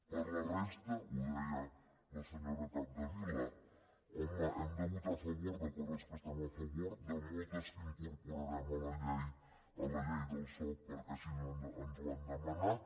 per la resta ho deia la senyora capdevila home hem de votar a favor de coses que estem a favor de moltes que incorporarem a la llei del soc perquè així ens ho han demanat